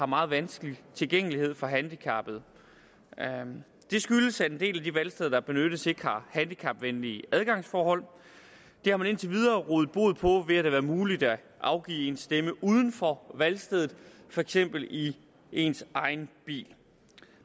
meget vanskelig tilgængelighed for handicappede det skyldes at en del af de valgsteder der benyttes ikke har handicapvenlige adgangsforhold det har man indtil videre rådet bod på ved at det har været muligt at afgive sin stemme uden for valgstedet for eksempel i ens egen bil